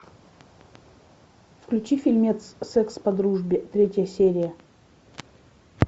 включи фильмец секс по дружбе третья серия